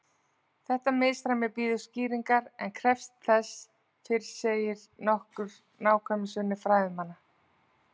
Þetta misræmi bíður skýringar en krefst sem fyrr segir nokkurrar nákvæmnisvinnu fræðimanna.